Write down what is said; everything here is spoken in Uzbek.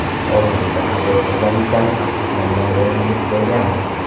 Hozirgacha qabul qilganizdan afsuslangan rolingiz bo‘lganmi?